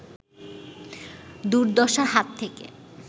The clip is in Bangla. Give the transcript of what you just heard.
দুর্দশার হাত থেকে